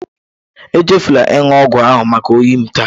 Echefuru m ịnụ ọgwụ maka oyi m taa